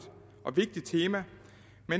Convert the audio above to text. og vigtigt tema